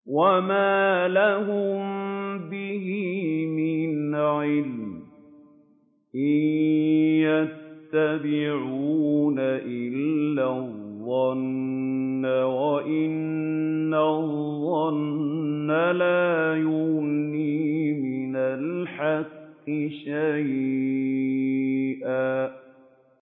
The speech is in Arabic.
وَمَا لَهُم بِهِ مِنْ عِلْمٍ ۖ إِن يَتَّبِعُونَ إِلَّا الظَّنَّ ۖ وَإِنَّ الظَّنَّ لَا يُغْنِي مِنَ الْحَقِّ شَيْئًا